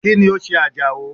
Kíni o se Àjàó?